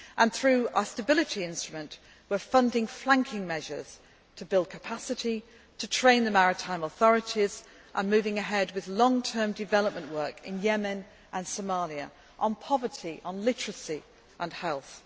spring. Through our Stability Instrument, we are funding flanking measures to build capacity, to train the maritime authorities and moving ahead with long term development work in Yemen and Somalia on poverty, literacy and